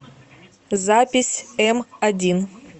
запись эмодин